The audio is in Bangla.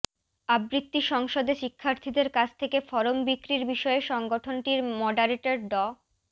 আবৃত্তি সংসদে শিক্ষার্থীদের কাছ থেকে ফরম বিক্রির বিষয়ে সংগঠনটির মডারেটর ড